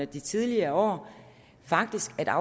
de tidligere år faktisk at